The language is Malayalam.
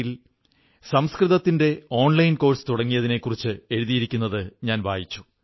ഇൻ ൽ സംസ്കൃതത്തിന്റെ ഓൺലൈൻ കോഴ്സ് തുടങ്ങിയതിനെക്കുറിച്ച് എഴുതിയത് ഞാൻ വായിച്ചു